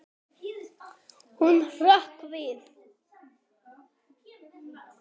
Hún hrökk við.